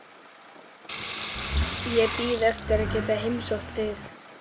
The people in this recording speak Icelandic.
Ég bíð eftir að geta heimsótt þig.